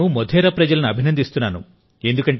నేను మోధేరా ప్రజలను అభినందిస్తున్నాను